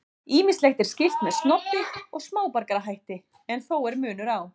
Ýmislegt er skylt með snobbi og smáborgarahætti en þó er munur á.